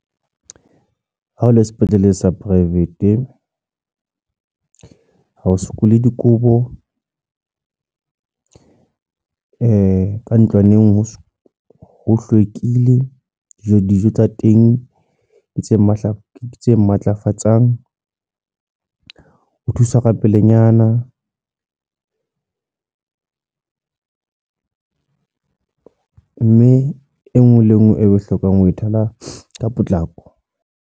Ha ho le sepetlele sa private ha o sokole dikobo. Ka ntlwaneng ho ho hlwekile. Dijo tsa teng di tse matla, tse matlafatsang. Ho thusa ka pelenyana. Mme e nngwe le nngwe e hlokang ho e thola ka potlako.